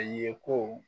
A ye ko